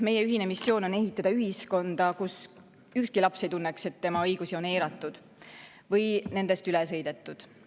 Meie ühine missioon on ehitada ühiskonda, kus ükski laps ei tunneks, et tema õigusi on eiratud või nendest üle sõidetud.